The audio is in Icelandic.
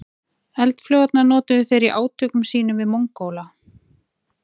Eldflaugarnar notuðu þeir í átökum sínum við Mongóla.